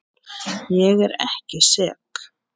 Ég er ekki sek.